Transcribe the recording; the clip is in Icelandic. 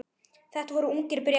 Þetta voru ungir Bretar.